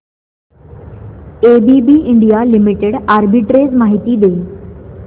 ABB India limited arbitrage माहिती दे